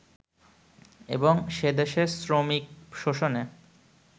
এবং সেদেশে শ্রমিক শোষণে